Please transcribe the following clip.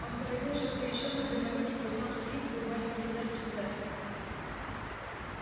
он говорил что то ещё но длиннорукий поднял скрипку и маленький зальчик замер